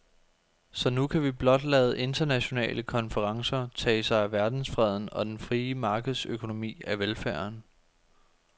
Så nu kan vi blot lade internationale konferencer tage sig af verdensfreden og den frie markedsøkonomi af velfærden.